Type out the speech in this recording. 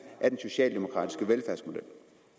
af den socialdemokratiske velfærdsmodel